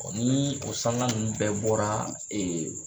Kɔ nii o sanga ninnu bɛɛ bɔraa